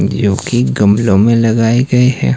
जो की गमलों में लगाए गए है।